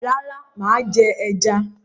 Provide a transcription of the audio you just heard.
Rárá, mà á jẹ ẹja.